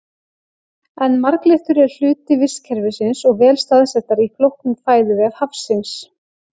En marglyttur eru hluti vistkerfisins og vel staðsettar í flóknum fæðuvef hafsins.